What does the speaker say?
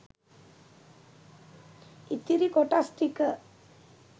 ඉතිරි කොටස් ටික